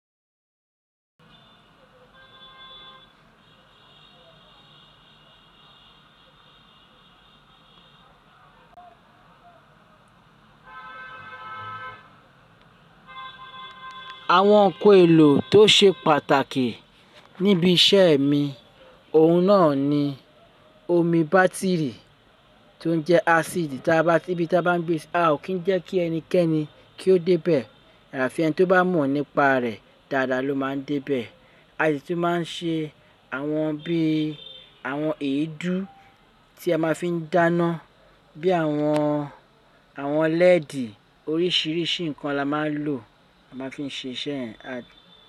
Àwọn nkan èlò tó ṣe pàtàkì níbi iṣẹ́ mi, òun náà ni omi bátìrì tó ń jẹ́ ásíìdì, tí bí bá bá gbé a ò kí ń jẹ́ kí ẹnikẹ́ni kí ó dé bẹ́ẹ̀, àfi ẹni tí ó bá mọ̀ nípa rẹ̀ dáadáa ló máa ń dé bẹ́ẹ̀. A sì máa ń ṣe àwọn bí i àwọn èédú tí a máa fi ń dáná, bí àwọn, àwọn lẹ́ẹ̀dì oríṣiríṣi nǹkan la máa ń lò, a máa fi ń ṣe iṣẹ́ yẹn.